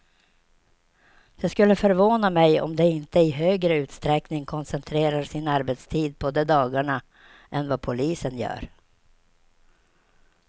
Det skulle förvåna mig om de inte i högre utsträckning koncentrerar sin arbetstid på de dagarna än vad polisen gör.